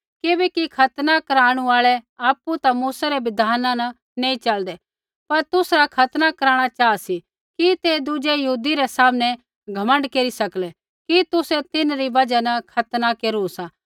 किबैकि खतना कराणू आल़ै आपु ता मूसै रै बिधाना न नैंई च़लदै पर तुसरा खतना कराणा चाहा सी कि ते दुज़ै यहूदी रै सामनै घमण्ड केरी सकलै कि तुसै तिन्हरी बजहा न खतना केरू सा